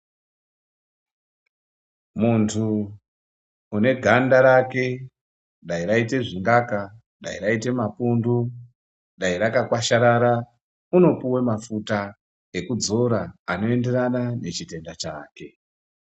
Muntu une ganda rake ,dai raite zvingaka, dai raite mapundu ,dai rakakwasharara, unopuwe mafuta ekudzora, anoenderana nechitenda chake.